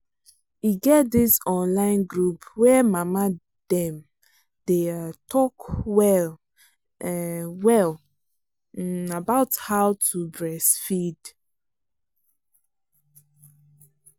e get this online group where mama dem day um talk well um well um about how to breastfeed